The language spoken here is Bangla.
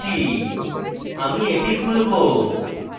আমি এটি খুলবো